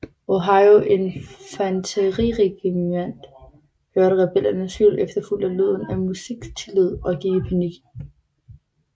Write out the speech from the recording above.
Ohio Infanteriregimant hørte rebellernes hyl efterfulgt af lyden af musketild og gik i panik